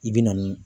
I bɛ na ni